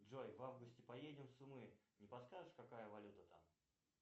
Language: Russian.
джой в августе поедем в сумы не подскажешь какая валюта там